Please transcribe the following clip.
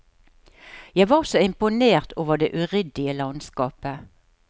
Jeg var så imponert over det uryddige landskapet.